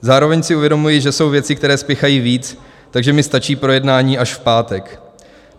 Zároveň si uvědomuji, že jsou věci, které spěchají víc, takže mi stačí projednání až v pátek.